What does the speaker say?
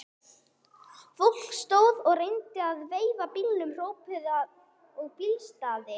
Fólk stóð og reyndi að veifa bílum, hrópaði og blístraði.